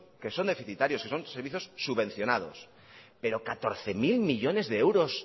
que son deficitarios que son servicios subvencionados pero catorce mil millónes de euros